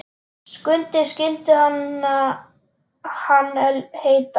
Skundi skyldi hann heita.